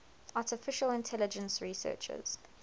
artificial intelligence researchers